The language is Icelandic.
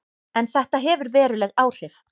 En þetta hefur veruleg áhrif.